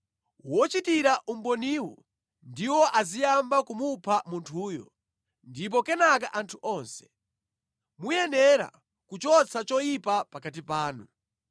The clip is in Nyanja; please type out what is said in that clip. Wochitira umboniwo ndiwo aziyamba kumupha munthuyo, ndipo kenaka anthu onse. Muyenera kuchotsa choyipa pakati panu.